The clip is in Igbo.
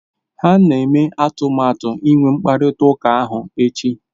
Ha na-eme atụmatụ inwe mkparịta ụka ahụ echi